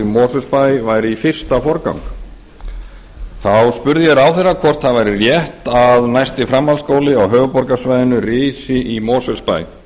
mosfellsbæ væri í fyrsta forgang þá spurði ég ráðherra hvort það væri rétt að næsti framhaldsskóli á höfuðborgarsvæðinu risi í mosfellsbæ